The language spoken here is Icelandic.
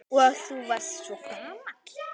Og þú varst svo gamall.